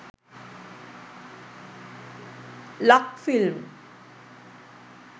lakfilm